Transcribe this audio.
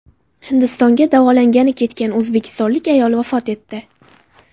Hindistonga davolangani ketgan o‘zbekistonlik ayol vafot etdi.